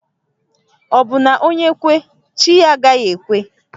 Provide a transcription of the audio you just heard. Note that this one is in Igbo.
Obu na onye kwe, chi ya agaghi ekwe?